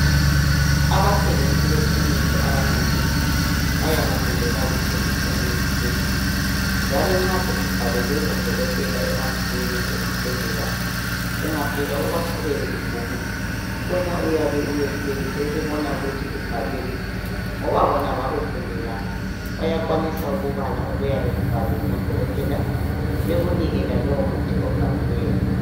Abathengisi bekhemesi abanengi bayakufundela ukuthengisa imithi leyi njalo nxa sesibhalelwe ngodokotela emabhukwini esibhedlela ungafika ubaqhubele ibhuku wena uyabe uyehlulekile ukubona ukuthi kubhalweni ngoba bona bakufundela bayakwanisa ukubala okuyabe kubhalwe ngodokotela bekunike lalowo muthi obhaliweyo.